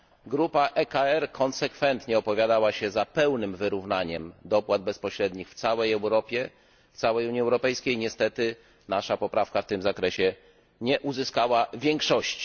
Grupa ECR konsekwentnie opowiadała się za pełnym wyrównaniem dopłat bezpośrednich w całej Europie, w całej Unii Europejskiej, niestety nasza poprawka w tym zakresie nie uzyskała większości.